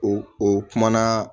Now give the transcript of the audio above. O o kumana